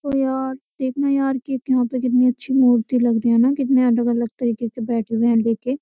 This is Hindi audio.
ओ यार देखना यार कि यहाँ पे कितनी अच्छी मूर्ति लग रही है ना कितने अलग-अलग तरीके के बैठे हुए हैं लेके।